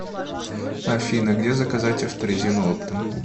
афина где заказать авто резину оптом